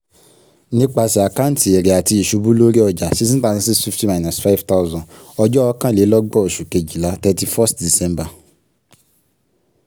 nípasẹ̀ àkáǹtí èrè àti ìṣubú lórí ọjà sixteen thousand six fifty minus lórí ọjà ọjọ́ ọ̀kanlélọ́gbọ̀n oṣù kejìlá thrity first december